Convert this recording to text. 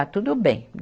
Ah, tudo bem.